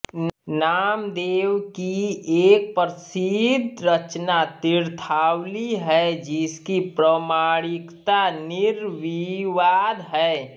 नामदेव की एक प्रसिद्ध रचना तीर्थावली है जिसकी प्रामाणिकता निर्विवाद है